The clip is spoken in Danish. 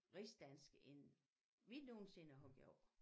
Rigsdansk end vi nogensinde har gjort